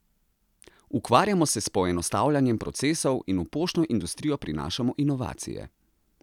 Ukvarjamo se z poenostavljanjem procesov in v poštno industrijo prinašamo inovacije.